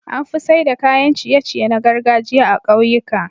Anfi saida kayan ciye ciye na gargajiya a kyauyika